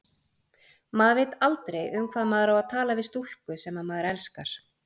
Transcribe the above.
Maður veit aldrei, um hvað maður á að tala við stúlku, sem maður elskar.